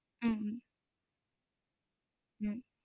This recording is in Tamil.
உம் உம்